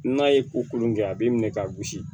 N'a ye ko kolon kɛ a b'i minɛ k'a gosi